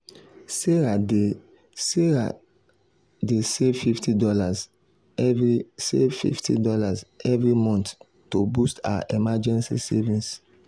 sarah dey save fifty dollarsevery save fifty dollarsevery month to boost her emergency savings.